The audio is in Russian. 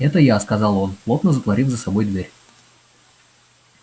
это я сказал он плотно затворив за собой дверь